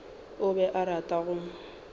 o be a rata go